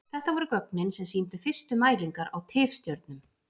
Þetta voru gögnin sem sýndu fyrstu mælingar á tifstjörnum.